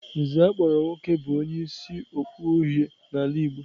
Nze akpọrọ nwoke bụ onye isi okpu uhie n'ala Igbo.